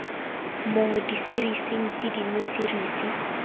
mo diserising tse dingwe serisi